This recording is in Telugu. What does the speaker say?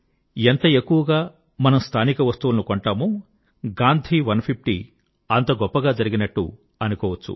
ఎంత ఎక్కువగా మనం స్థానిక వస్తువులను కొంటామో గాంధీ 150 అంతగా గొప్పగా జరిగినట్టు అనుకోవచ్చు